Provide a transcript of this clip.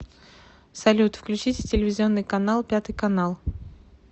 салют включите телевизионный канал пятый канал